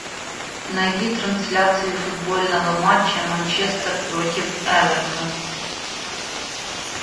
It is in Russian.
найди трансляцию футбольного матча манчестер против эвертон